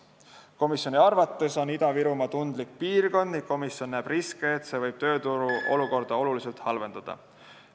Komisjoni arvates on Ida-Virumaa tundlik piirkond ning komisjon näeb riske, et see võib töörutu olukorda oluliselt halvendada.